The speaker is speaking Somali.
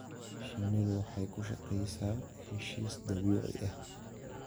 Shinnidu waxay ku shaqeysaa heshiis dabiici ah.